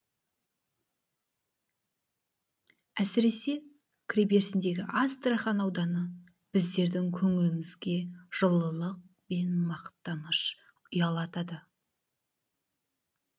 әсіресе кіреберісіндегі астрахань ауданы біздердің көңілімізге жылылық пен мақтаныш ұялатады